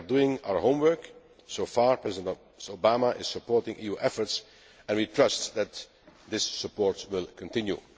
We are doing our homework. So far, President Obama is supporting EU efforts, and we trust that this support will continue.